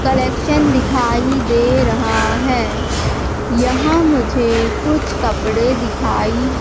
collection दिखाई दे रहा है यहां मुझे कुछ कपड़े दिखाई--